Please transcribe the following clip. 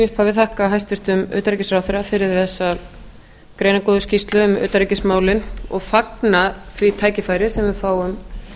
upphafi þakka hæstvirtum utanríkisráðherra fyrir þessa greinargóðu skýrslu um utanríkismálin og fagna því tækifæri sem við fáum